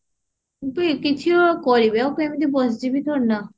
କିନ୍ତୁ କିଛି କରିବି ଆଉ ସେମିତି ବସିଯିବି ଥୋଡି ନା